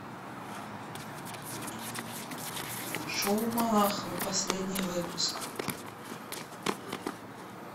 шоу малахова последний выпуск